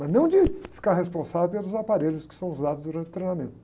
Mas não de ficar responsável pelos aparelhos que são usados durante o treinamento.